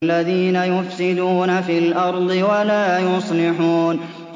الَّذِينَ يُفْسِدُونَ فِي الْأَرْضِ وَلَا يُصْلِحُونَ